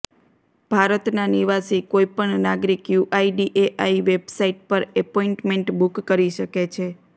ભારતના નિવાસી કોઇપણ નાગરિક યુઆઇડીએઆઇ વેબસાઇટ પર અપોઇન્ટમેન્ટ બુક કરી શકે છે